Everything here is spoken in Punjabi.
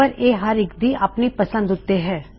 ਪਰ ਇਹ ਹਰ ਇੱਕ ਦੀ ਆਪਨੀ ਪਸੰਦ ਉੱਤੇ ਹੈ